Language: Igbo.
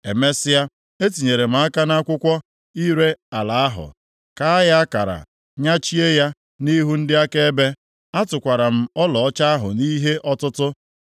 Emesịa, etinyere m aka m nʼakwụkwọ ire ala ahụ, kaa ya akara, nyachie ya, nʼihu ndị akaebe. Atụkwara m ọlaọcha ahụ nʼihe ọtụtụ.